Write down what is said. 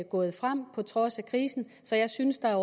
gået frem på trods af krisen så jeg synes at